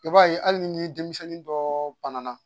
I b'a ye hali ni denmisɛn dɔ bana na.